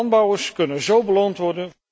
Landbouwers kunnen zo beloond worden.